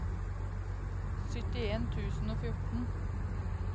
syttien tusen og fjorten